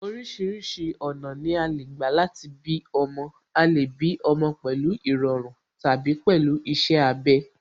Orísìírísìí ọ̀nà ni a lè gbà láti bí ọmọ, a lè bí ọmọ pẹ̀lú ìrọ̀run tàbí pẹ̀lú iṣẹ́ abẹ